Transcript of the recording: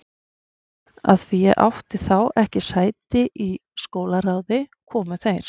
Af því að ég átti þá ekki sæti í háskólaráði, komu þeir